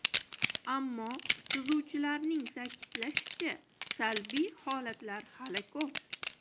Ammo, tuzuvchilarning ta’kidlashicha, salbiy holatlar hali ko‘p.